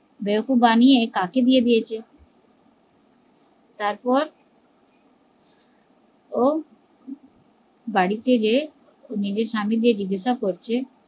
বেয়াকুফ বানিয়ে কাকে দিয়ে দিয়েছে তারপর ও বাড়িতে গিয়ে নিজের স্বামী কে জিজ্ঞেসা করছে